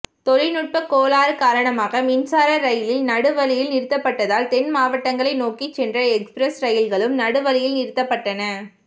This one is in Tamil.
தொழிற்நுட்ப கோளாறு காரணமாக மின்சார ரெயில் நடுவழியில் நிறுத்தப்பட்டதால் தென்மாவட்டங்களை நோக்கி சென்ற எக்ஸ்பிரஸ் ரெயில்களும் நடு வழியில் நிறுத்தப்பட்டன